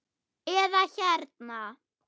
eða hérna